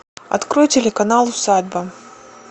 открой телеканал усадьба